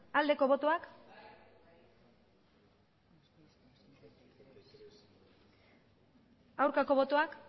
aldeko botoak aurkako botoak